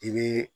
I bɛ